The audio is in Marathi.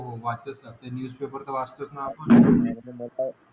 हो वाचतोच ना न्यूजपेपर तर वाचतोच ना आपण .